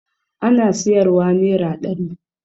Ana siyarwa nera ɗari